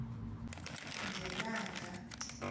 ngelanga